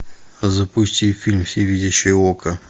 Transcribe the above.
запусти фильм всевидящее око